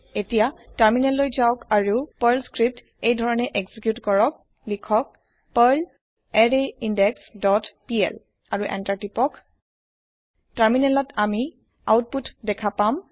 এতিয়া টাৰমিনেললৈ যাওক আৰু পাৰ্ল স্ক্ৰীপ্ট এইধৰণে এক্সিকিউত কৰক লিখক পাৰ্ল আৰৰাইনদেশ ডট পিএল আৰু এন্টাৰ টিপক টাৰমিনেলত আমি আওতপুত দেখা পাম